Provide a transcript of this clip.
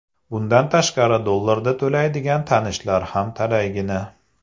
Bundan tashqari dollarlarda to‘laydigan tanishlar ham talaygina.